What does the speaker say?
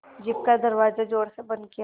jeep का दरवाज़ा ज़ोर से बंद किया